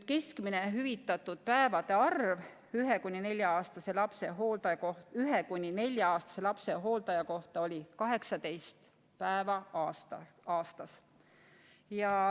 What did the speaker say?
Keskmine hüvitatud päevade arv ühe- kuni nelja-aastase lapse hooldaja kohta oli 18 päeva aastas.